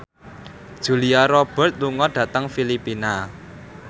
Julia Robert lunga dhateng Filipina